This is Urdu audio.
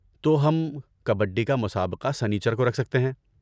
تو ہم کبڈی کا مسابقہ سنیچر کو رکھ سکتے ہیں۔